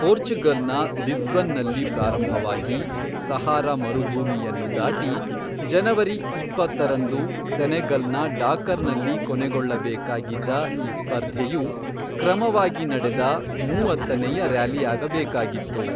ಪೋರ್ಚುಗಲ್ನ ಲಿಸ್ಬನ್ನಲ್ಲಿ ಪ್ರಾರಂಭವಾಗಿ ಸಹಾರಾ ಮರುಭೂಮಿಯನ್ನು ದಾಟಿ ಜನವರಿ ಇಪ್ಪತ್ತರಂದು ಸೆನೆಗಲ್ನ ಡಾಕರ್ನಲ್ಲಿ ಕೊನೆಗೊಳ್ಳಬೇಕಾಗಿದ್ದ ಈ ಸ್ಪರ್ಧೆಯು ಕ್ರಮವಾಗಿ ನಡೆದ ಮೂವತ್ತನೆಯ ರ್ಯಾಲಿಯಾಗಬೇಕಾಗಿತ್ತು.